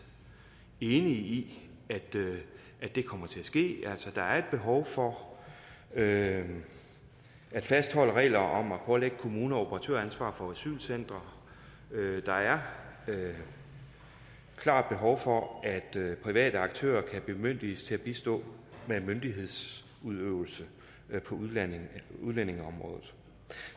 enige i kommer til at ske altså der er et behov for at fastholde regler om at pålægge kommuner operatøransvar for asylcentre og der er et klart behov for at private aktører kan bemyndiges til at bistå med myndighedsudøvelse på udlændingeområdet